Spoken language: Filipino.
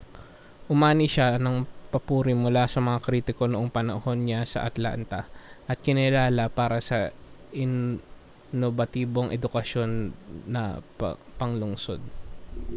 umani siya ng papuri mula sa mga kritiko noong panahon niya sa atlanta at kinilala para sa inobatibong edukasyon na panglungsod